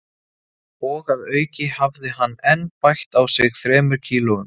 Og að auki hafði hann enn bætt á sig þremur kílóum